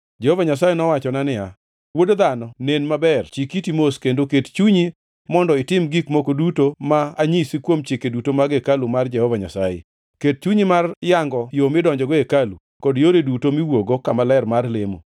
Jehova Nyasaye nowachona niya, “Wuod dhano, nen maber, chik iti mos kendo ket chunyi mondo itim gik moko duto ma anyisi kuom chike duto mag hekalu mar Jehova Nyasaye. Ket chunyi mar yango yo midonjogo e hekalu kod yore duto miwuokgo kama ler mar lemo.